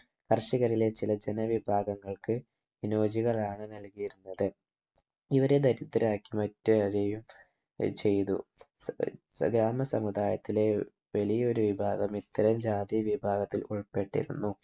കർഷകരിലെ ചില ജനവിഭാഗങ്ങൾക്ക് ഹിനോജികളാണ് നൽകിയിരുന്നത് ഇവരെ ദരിദ്രരാക്കി മറ്റോലയും ചെയ്തു ഏർ ഗ്രാമസമുദായത്തിലെ വലിയൊരു വിഭാഗം ഇത്തരം ജാതി വിഭാഗത്തിൽ ഉൾപ്പെട്ടിരുന്നു